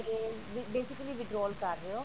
ਤੇ basically withdraw ਕਰ ਰਹੇ ਹੋ